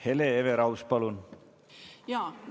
Hele Everaus, palun!